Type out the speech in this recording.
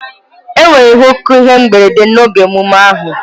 Enwere nnukwu ihe mberede n'oge ememme ahụ.